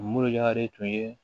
Minnu y'a de tun ye